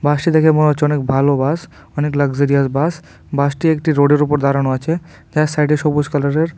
বাসটি দেখে মনে হচ্ছে অনেক ভালো বাস অনেক লাক্সেরইয়াস বাস বাসটি একটি রোডের উপর দাঁড়ানো আছে চার সাইডে সবুজ কালারের--